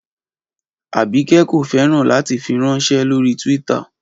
Abike ko fẹran lati firanṣẹ lori Twitter